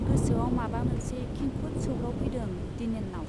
गोसोआव माबा मोनसे खेंखुद सौग्रावफैदों दिनेननाव।